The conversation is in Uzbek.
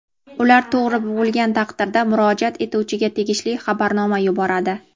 ular to‘g‘ri bo‘lgan taqdirda murojaat etuvchiga tegishli xabarnoma yuboradi.